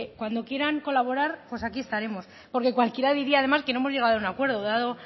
cuando quieran colaborar pues aquí estaremos porque cualquiera diría además que no hemos llegado a un acuerdo dado